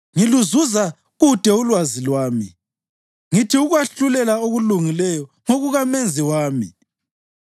Ngiluzuza kude ulwazi lwami; ngithi ukwahlulela okulungileyo ngokukaMenzi wami.